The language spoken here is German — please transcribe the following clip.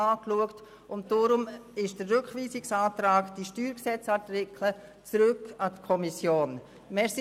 Deshalb lautet der Rückweisungsantrag, die StG-Artikel seien an die Kommission zurückzuweisen.